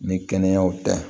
Ni kɛnɛyaw tɛ